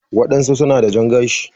waɗansu suna da jan gashi.